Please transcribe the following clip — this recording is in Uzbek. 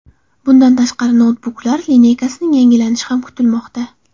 Bundan tashqari, noutbuklar lineykasining yangilanishi ham kutilmoqda.